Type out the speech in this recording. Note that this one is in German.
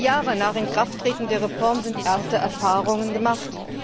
Vier Jahre nach Inkrafttreten der Reform sind erste Erfahrungen gemacht.